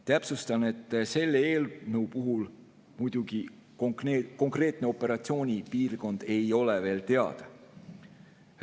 Täpsustan, et selle eelnõu puhul ei ole konkreetne operatsioonipiirkond muidugi veel teada.